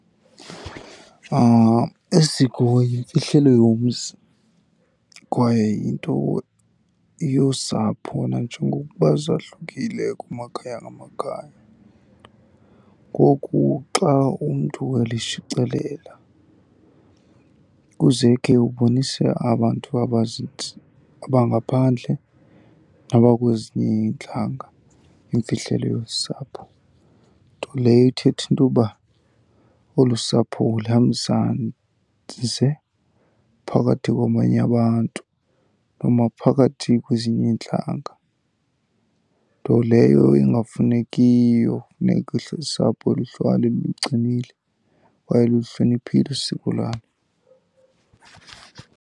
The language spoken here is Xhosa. Isiko yimfihlelo yomzi kwaye yinto yosapho nanjengokuba zahlukile kumakhaya ngamakhaya. Ngoku xa umntu elishicilela kuzeke ubonisa abantu abangaphandle abakwezinye iintlanga imfihlelo yolu sapho. Nto leyo ithetha into yoba olu sapho ulihambisa ze phakathi kwabanye abantu noma phakathi kwezinye iintlanga. Nto leyo ingafunekiyo, funeka usapho luhlale luligcinile kwaye lulihloniphile usiko lwalo.